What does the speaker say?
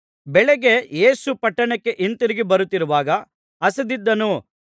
ಬೆಳಗ್ಗೆ ಯೇಸು ಪಟ್ಟಣಕ್ಕೆ ಹಿಂತಿರುಗಿ ಬರುತ್ತಿರುವಾಗ ಹಸಿದಿದ್ದನು